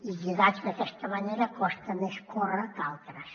i lligats d’aquesta manera costa més córrer que altres